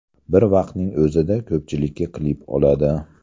Bir vaqtning o‘zida ko‘pchillikka klip oladi.